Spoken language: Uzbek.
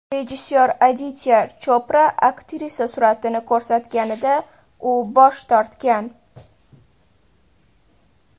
Rejissor Aditya Chopra aktrisa suratini ko‘rsatganida u bosh tortgan.